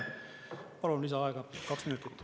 Palun lisaaega kaks minutit.